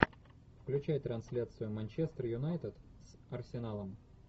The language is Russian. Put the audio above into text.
включай трансляцию манчестер юнайтед с арсеналом